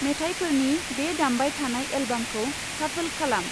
मेथाइफोरनि बे दामबाय थानाय एल्बामखौ शाफोल खालाम।